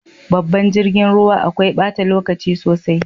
Babban jirgin ruwa akwai bata lokaci sosai.